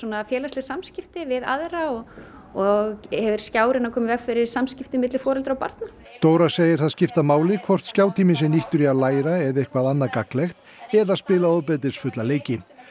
félagsleg samskipti við aðra og og er skjárinn að koma í veg fyrir samskipti milli foreldra og barna Dóra segir það skipta máli hvort skjátíminn sé nýttur í að læra eða eitthvað annað gagnlegt eða að spila ofbeldisfulla leiki